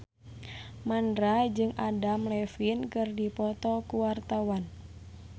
Mandra jeung Adam Levine keur dipoto ku wartawan